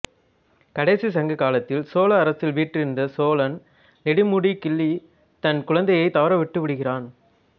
கடைச் சங்க காலத்தில் சோழ அரசில் வீற்றிருந்த சோழன்நெடுமுடிக் கிள்ளி தன் குழந்தையைத் தவற விட்டுவிடுகிறான்